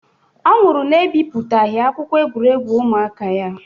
Ọ nwụrụ na-ebipụtaghị akwụkwọ egwuregwu ụmụaka ya